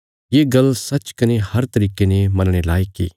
ये गल्ल सच्च कने हर तरिके ने मनणे लायक इ